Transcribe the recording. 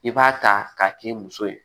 I b'a ta k'a k'i muso ye